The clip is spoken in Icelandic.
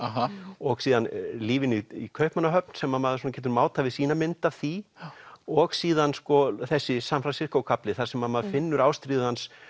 og síðan lífinu í Kaupmannahöfn sem maður getur mátað við sína mynd af því og síðan sko þessi San Fransisco kafli þar sem maður finnur ástríðu hans